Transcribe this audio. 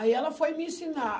Aí ela foi me ensinar.